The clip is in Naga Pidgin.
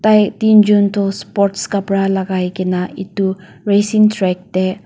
tai tinjun toh sport khapara lagai kena itu racing track tey.